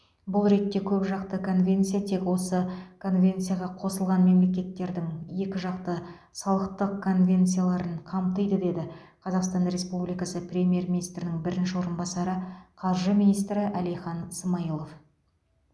бұл ретте көпжақты конвенция тек осы конвенцияға қосылған мемлекеттердің екіжақты салықтық конвенцияларын қамтиды деді қазақстан республикасы премьер министрінің бірінші орынбасары қаржы министрі әлихан смайылов